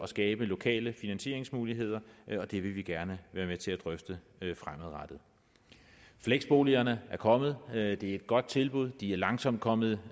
skabe lokale finansieringsmuligheder og det vil vi gerne være med til at drøfte fremadrettet fleksboligerne er kommet det er et godt tilbud og de er langsomt kommet